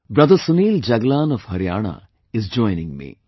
Brother Sunil Jaglan of Haryana is joining me